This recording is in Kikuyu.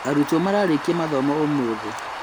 Arutwo mararĩkia mathomo ũmũthĩ